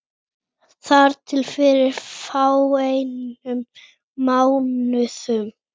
Þar til fyrir fáeinum mánuðum.